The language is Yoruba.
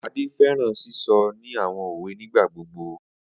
Ade fẹran sisọ ni awọn owe nigbagbogbo.